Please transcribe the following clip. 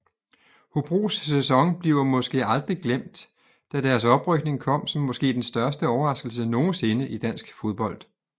Hobros sæson bliver måske aldrig glemt da deres oprykning kom som måske den største overraskelse nogensinde i dansk fodbold